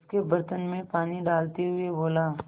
उसके बर्तन में पानी डालते हुए बोला